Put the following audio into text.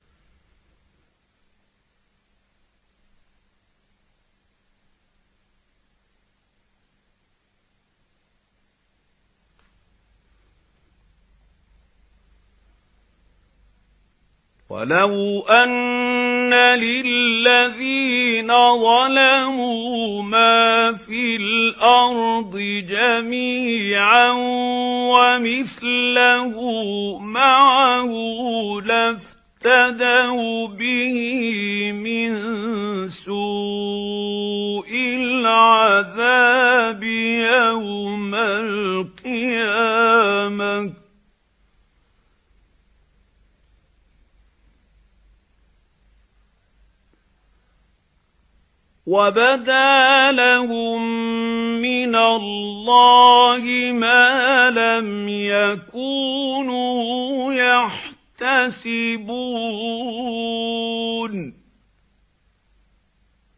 وَلَوْ أَنَّ لِلَّذِينَ ظَلَمُوا مَا فِي الْأَرْضِ جَمِيعًا وَمِثْلَهُ مَعَهُ لَافْتَدَوْا بِهِ مِن سُوءِ الْعَذَابِ يَوْمَ الْقِيَامَةِ ۚ وَبَدَا لَهُم مِّنَ اللَّهِ مَا لَمْ يَكُونُوا يَحْتَسِبُونَ